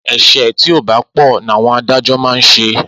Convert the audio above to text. Ese ti ọ ba pò na àwọn adájọ́ máa ṣe